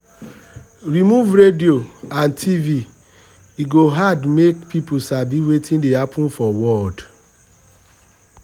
remove radio um and tv e go hard make people sabi wetin dey happen for world. um